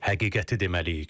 Həqiqəti deməliyik.